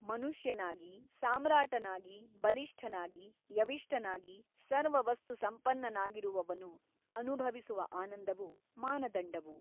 ಮನುಷ್ಯನಾಗಿ ಸಾಮ್ರಾಟನಾಗಿ ಬಲಿಷ್ಠನಾಗಿ ಯವಿಷ್ಟನಾಗಿ ಸರ್ವವಸ್ತು ಸಂಪನ್ನನಾಗಿರುವವನು ಅನುಭವಿಸುವ ಆನಂದವು ಮಾನದಂಡವು.